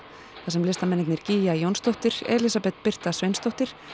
þar sem listamennirnir Jónsdóttir Elísabet Birta Sveinsdóttir